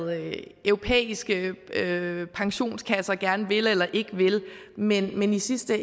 europæiske pensionskasser gerne vil eller ikke vil men men i sidste